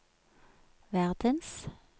verdens